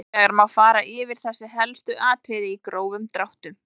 Hins vegar má fara yfir þessi helstu atriði í grófum dráttum.